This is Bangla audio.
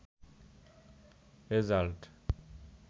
রেজাল্ট